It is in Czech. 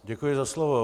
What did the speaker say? Děkuji za slovo.